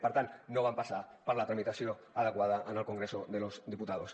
per tant no van passar per la tramitació adequada en el congreso de los diputados